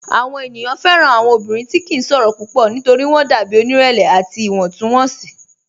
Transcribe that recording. Awọn ènìyàn fẹ́ran awọn ọ̀bìnrin tí kì n ṣòro púpọ̀ nítorí wọn dàbí onírẹ̀lẹ̀ àti iwọntúnwọnsì.